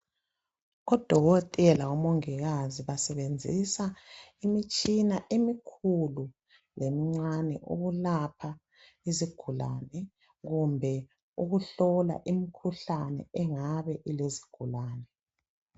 Odokotela, omongikazi basebenzisa imitshina emikhulu lemincane ukulapha izigulane kumbe ukuhlola imikhuhlane engabe ilezigulane.